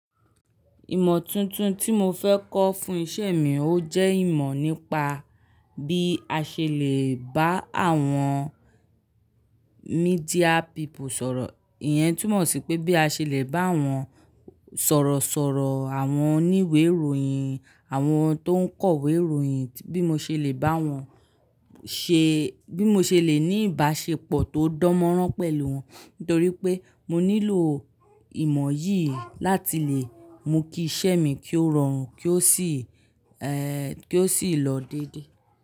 Ìmọ̀ tuntun tí mo fẹ́ kọ́ fún iṣẹ́ mi, ó jẹ́ ìmọ̀ nípa bí a ṣe lè bá àwọn media people sọ̀rọ̀. Ìyẹn túmọ̀ sí pé bí a ṣe lè bá àwọn sọ̀rọ̀ sọ̀rọ̀, àwọn oníwé ìròyìn, àwọn tó ń kọ̀wé ìròyìn, bí mo ṣe lè bá wọn ṣe-- bí mo ṣe lè ní ìbáṣepọ̀ tó dánmọ́nrán pẹ̀lú wọn. Nítorí pé mo nílò ìmọ̀ yìí láti lè mú kí iṣẹ́ mi kí ó rọrùn kí ó sì, ẹ́, kí ó sì lọ dédé.